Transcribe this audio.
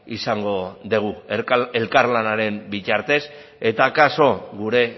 izango dugu elkarlanaren bitartez eta akaso gure